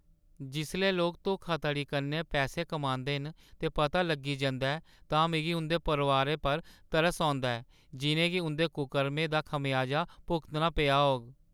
जिसलै लोक धोखाधड़ी कन्नै पैसे कमांदे न ते पता लग्गी जंदा ऐ, तां मिगी उंʼदे परोआरै पर तरस औंदा ऐ जिʼनें गी उंʼदे कुकर्में दा खमेयाजा भुगतना पेआ होग।